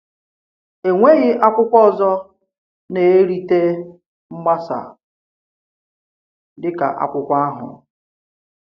Enweghị akwùkwò ọzọ na-eritè mgbasa dị ka ákwùkwò àhụ̀.